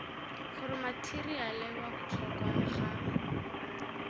gore matheriale wa botlhokwa ga